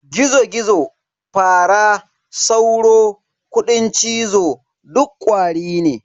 Gizo-Gizo, Fara, Sauro, Kuɗin cizo duk Ƙwari ne.